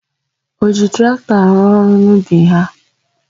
O ji traktọ arụ ọrụ n'ubi ha?